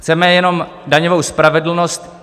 Chceme jenom daňovou spravedlnost.